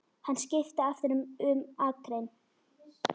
Hann skipti aftur um akrein.